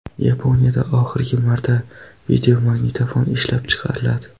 Yaponiyada oxirgi marta videomagnitofon ishlab chiqariladi.